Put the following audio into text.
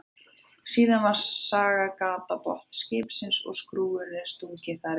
Síðan var sagað gat á botn skipsins og skrúfunni stungið þar niður.